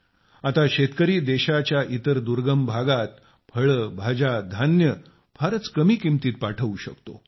आता शेतकरी देशाच्या इतर दुर्गम भागात फळ भाज्या धान्य फारच कमी किंमतीत पाठवू शकतो